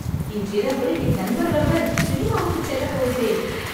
இன்றிரவு என் நண்பர்களுடன் சினிமாவுக்குச் செல்ல போகிறேன்